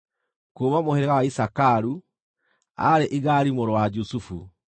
kuuma mũhĩrĩga wa Isakaru, aarĩ Igali mũrũ wa Jusufu;